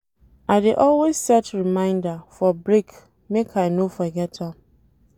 I dey always set remainder for break make I no forget am.